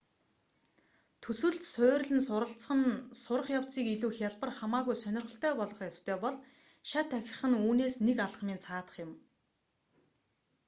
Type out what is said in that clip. төсөлд суурилан суралцах нь сурах явцыг илүү хялбар хамаагүй сонирхолтой болгох ёстой бол шат ахих нь үүнээс нэг алхмын цаадах юм